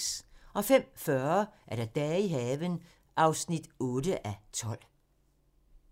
05:40: Dage i haven (8:12)